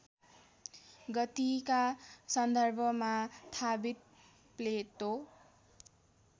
गतिका सन्दर्भमा थाबित प्लेटो